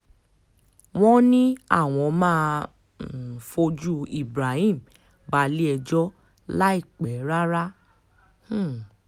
wọ́n ní àwọn máa um fojú ibrahim balẹ̀-ẹjọ́ láìpẹ́ rárá um